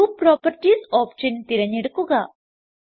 group properties option തിരഞ്ഞെടുക്കുക